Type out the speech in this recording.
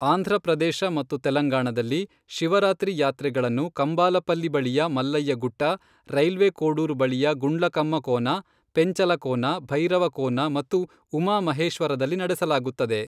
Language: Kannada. ಆಂಧ್ರಪ್ರದೇಶ ಮತ್ತು ತೆಲಂಗಾಣದಲ್ಲಿ, ಶಿವರಾತ್ರಿ ಯಾತ್ರೆಗಳನ್ನು ಕಂಬಾಲಪಲ್ಲಿ ಬಳಿಯ ಮಲ್ಲಯ್ಯ ಗುಟ್ಟ, ರೈಲ್ವೆ ಕೋಡೂರು ಬಳಿಯ ಗುಂಡ್ಲಕಮ್ಮ ಕೋನ, ಪೆಂಚಲಕೋನ, ಭೈರವಕೋನ ಮತ್ತು ಉಮಾ ಮಹೇಶ್ವರದಲ್ಲಿ ನಡೆಸಲಾಗುತ್ತದೆ.